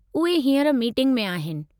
उहे हींअर मीटिंग में आहिनि।